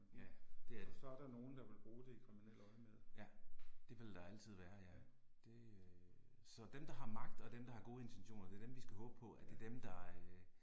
Ja, det er det. Ja, det vil der altid være ja, det øh. Så dem der har magt og dem der har gode intentioner, det dem vi skal håbe på, at det er dem der øh